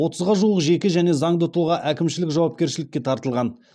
отызға жуық жеке және заңды тұлға әкімшілік жауапкершілікке тартылған